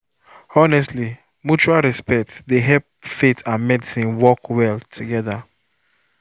honestly mutual pause respect dey help faith and medicine work well together.